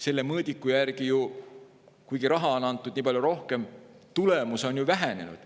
Selle mõõdiku järgi on ju nii, et kuigi raha on antud palju rohkem, on tulemus vähenenud.